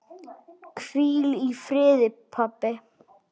Hvíl í friði, pabbi.